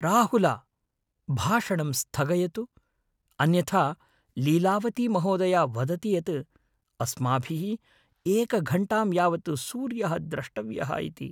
राहुल ! भाषणं स्थगयतु, अन्यथा लीलावती महोदया वदति यत् अस्माभिः एकघण्टां यावत् सूर्यः द्रष्टव्यः इति।